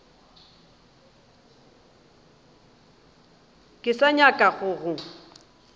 ke sa nyaka go go